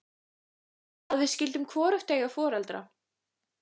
Að við skyldum hvorugt eiga foreldra.